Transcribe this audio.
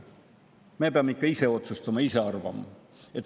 Me peame ikka ise otsustama, ise arvama.